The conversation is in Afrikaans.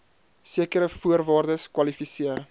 sekere voorwaardes kwalifiseer